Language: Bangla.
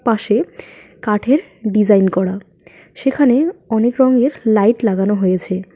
পাশে কাঠের ডিজাইন করা সেখানে অনেক রঙের লাইট লাগানো হয়েছে।